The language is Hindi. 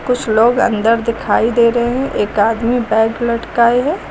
कुछ लोग अंदर दिखाई दे रहे हैं एक आदमी बैग लटकाए है।